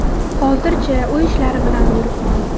Hozircha uy ishlari bilan yuribman.